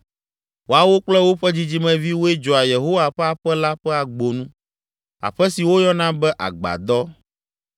Woawo kple woƒe dzidzimeviwoe dzɔa Yehowa ƒe aƒe la ƒe agbonu, aƒe si woyɔna be Agbadɔ.